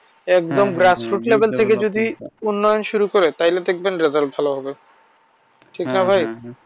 একদম grassdoot level থেকে যদি উন্নয়ন শুরু করে তাইলে দেখবেন result ভালো হবে ঠিক না ভাই।